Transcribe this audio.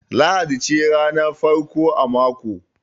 Lahadi ce ranar farko a mako